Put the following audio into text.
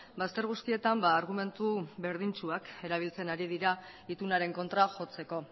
bazter guztietan argumentu berdintsuak erabiltzen ari dira itunaren kontra jotzeko